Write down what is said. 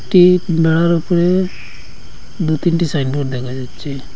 একটি বেড়ার ওপরে দুতিনটি সাইনবোর্ড দেখা যাচ্ছে।